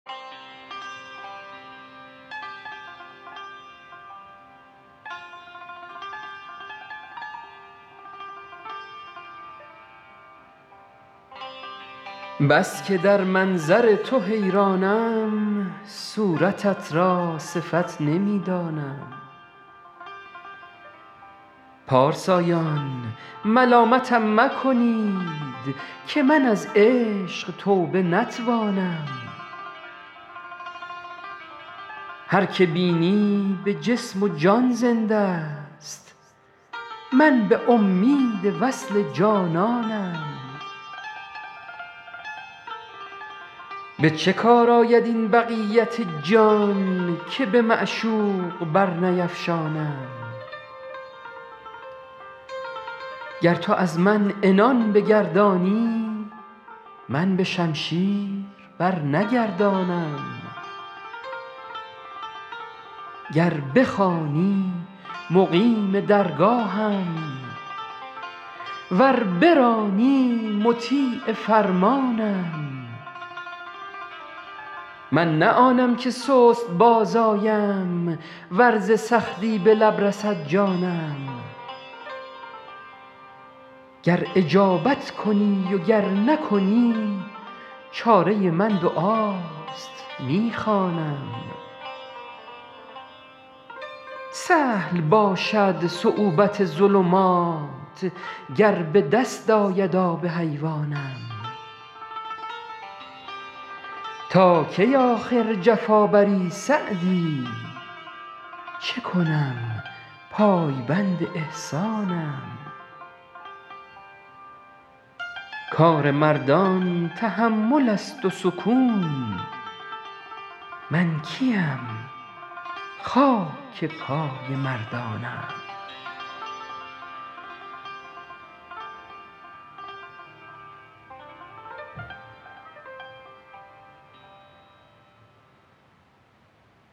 بس که در منظر تو حیرانم صورتت را صفت نمی دانم پارسایان ملامتم مکنید که من از عشق توبه نتوانم هر که بینی به جسم و جان زنده ست من به امید وصل جانانم به چه کار آید این بقیت جان که به معشوق برنیفشانم گر تو از من عنان بگردانی من به شمشیر برنگردانم گر بخوانی مقیم درگاهم ور برانی مطیع فرمانم من نه آنم که سست باز آیم ور ز سختی به لب رسد جانم گر اجابت کنی و گر نکنی چاره من دعاست می خوانم سهل باشد صعوبت ظلمات گر به دست آید آب حیوانم تا کی آخر جفا بری سعدی چه کنم پایبند احسانم کار مردان تحمل است و سکون من کی ام خاک پای مردانم